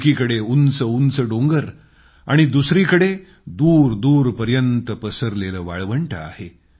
एकीकडे उंचउंच डोंगर आणि दुसरीकडे दूरदूरपर्यंत पसरलेलं वाळवंट आहे